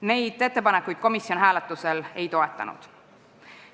Neid ettepanekuid komisjon hääletusel ei toetanud.